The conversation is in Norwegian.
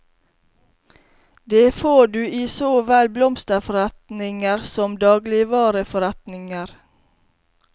Det får du i så vel blomsterforretninger som dagligvareforretninger.